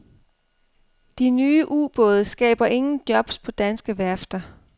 De nye ubåde skaber ingen jobs på danske værfter.